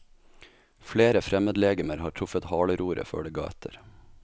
Flere fremmedlegemer har truffet haleroret før det ga etter.